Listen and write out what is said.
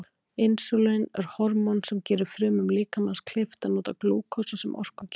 Insúlín er hormón sem gerir frumum líkamans kleift að nota glúkósa sem orkugjafa.